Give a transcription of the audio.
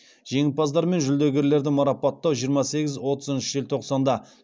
жеңімпаздар мен жүлдегерлерді марапаттау жиырма сегіз отызыншы желтоқсанда